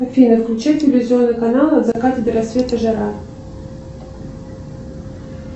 афина включи телевизионные каналы от заката до рассвета жара